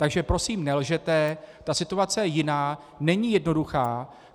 Takže prosím nelžete, ta situace je jiná, není jednoduchá.